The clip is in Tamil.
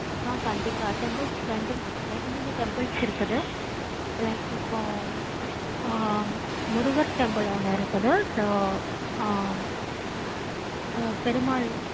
ஆஹ் கண்டிப்பா temples ரெண்டும் ரெண்டு மூணு temples இருக்குது. like அப்போ ஆஹ் முருகர் temple ஒன்னு இருக்குது. so ஆஹ் ஆஹ் பெருமாள்